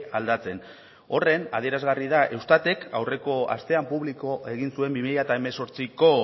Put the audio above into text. aldatzen horren adierazgarri da eustatek aurreko astean publiko egin zuen bi mila hemezortziko